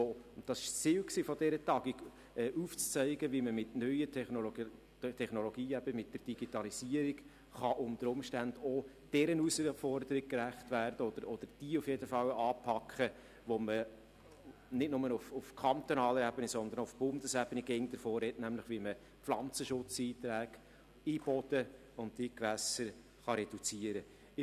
Das Ziel der Tagung war, aufzuzeigen, wie man mit neuen Technologien und der Digitalisierung unter Umständen auch jene Herausforderung anpacken kann, von der man nicht nur auf kantonaler, sondern auch auf Bundesebene stets spricht, nämlich wie man Pflanzenschutzmitteleinträge in den Boden und die Gewässer reduzieren kann.